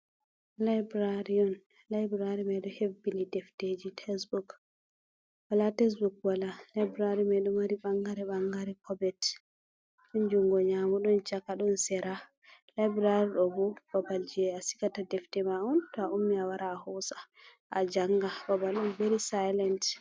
Laibirari mai ɗo hebbini defteji tes buuk wala tes buuk wala. Laibirari mai ɗo mari ɓangare ɓangare kobet. Ɗon jungo nyamo ɗon Chaka ɗo Sera. Laibirari ɗo ɓo babalji asigata Defte ma'on to a ummi awara a hosa, a janga babal'on veri Sailent.